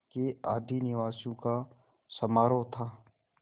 के आदिनिवासियों का समारोह था